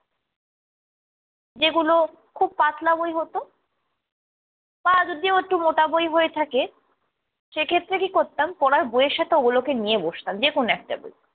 যেগুলো খুব পাতলা বই হতো বা যদিও একটু মোটা বই হয়ে থাকে সেক্ষেত্রে কি করতাম, পড়ার বইয়ের সাথে ওগুলোকে নিয়ে বসতাম, যেকোন একটা বই।